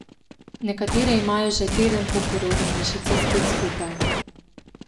Nekatere imajo že teden po porodu mišice spet skupaj.